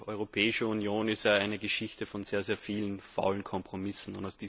Die Europäische Union ist ja eine Geschichte von sehr, sehr vielen faulen Kompromissen.